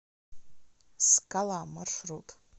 скала маршрут